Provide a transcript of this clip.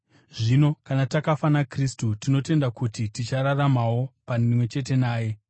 Zvino kana takafa naKristu, tinotenda kuti tichararamawo pamwe chete naye.